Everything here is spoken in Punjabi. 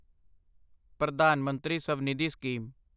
ਪ੍ਰਧਾਨ ਮੰਤਰੀ ਸਵਨਿਧੀ ਸਕੀਮ